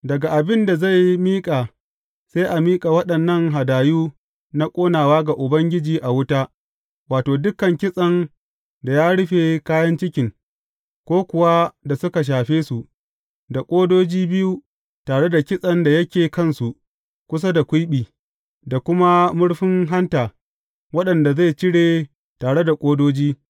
Daga abin da zai miƙa sai a miƙa waɗannan hadayu na ƙonawa ga Ubangiji a wuta, wato, dukan kitsen da ya rufe kayan cikin, ko kuwa da suka shafe su, da ƙodoji biyu tare da kitsen da yake kansu kusa da kwiɓi, da kuma murfin hanta waɗanda zai cire tare da ƙodoji.